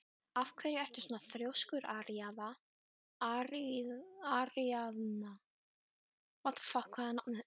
Af hverju ertu svona þrjóskur, Aríaðna?